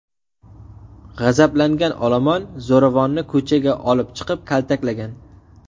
G‘azablangan olomon zo‘ravonni ko‘chaga olib chiqib, kaltaklagan.